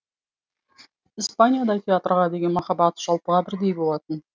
испанияда театрға деген махаббат жалпыға бірдей болатын